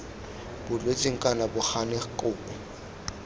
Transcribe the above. boletsweng kana bo gane kopo